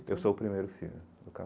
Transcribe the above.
Eu sou o primeiro filho do